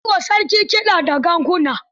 Ana yi wa sarki kiɗa da ganguna.